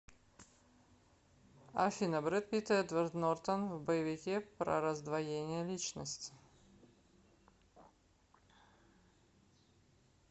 афина брэд пит и эдвард нортан в боевике про раздвоение личности